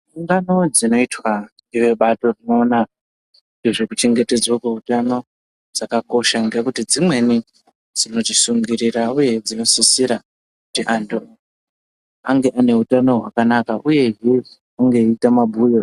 Ungano dzinoitwa ngevebato rinoona ngezvekuchengetedzwa kweutano, dzakakosha ngekuti dzimweni dzinotisungirira uye dzinosisira kuti anthu ange ane utano hwakanaka uyehe ange eiita mabhuyo.